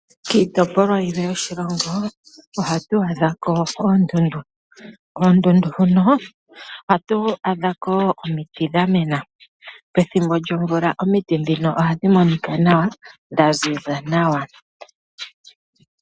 Kiitopolwa yilwe yoshilongo oha tu adha ko oondundu. Oondundu hono oha tu adha ko wo omiiti dha mena. Pethimbo lyomvula omiiti dhino ohadhi monika nawa dha ziza nawa.